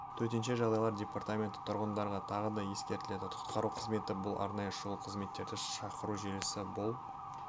төтенше жағдайлар департаменті тұрғындарға тағы да ескертеді құтқару қызметі бұл арнайы шұғыл қызметтерді шақыру желісі бұл